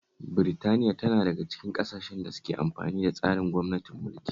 Britaniya tana daga cikin ƙasashen da suke amfani da tsarin gwamnatin mulki